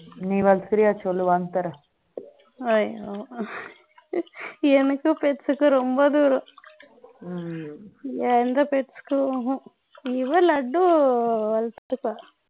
நீ வளர்க்கிறியா சொல்லு வாங்கி தரேன் ஐயோ எனக்கு pets க்கு ரொம்ப தூரம் இவன் லட்டு வச்சுப்பான்